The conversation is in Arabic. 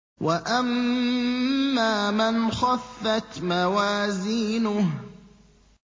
وَأَمَّا مَنْ خَفَّتْ مَوَازِينُهُ